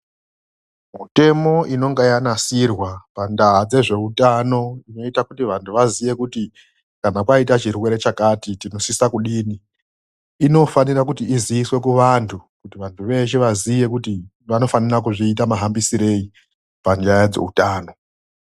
Mitemo inonga yanasirwa pandaa dzezveutano inoita kuti vanhu vaziye kuti kana paita chirwere chakati tino sisa kudini inofanirwa kuti iziiswe kuvantu kuti vantu vese vazive kuti vanofanira kuzviita mahambisirei panyaya dzeutano.